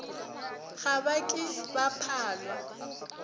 ga ba ke ba phalwa